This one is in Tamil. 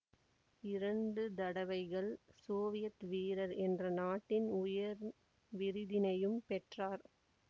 இரண்டு தடவைகள் சோவியத் வீரர் என்ற நாட்டின் உயர் விருதினையும் பெற்றார்